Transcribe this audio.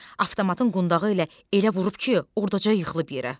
Avtomatın qundağı ilə elə vurub ki, ordaca yıxılıb yerə.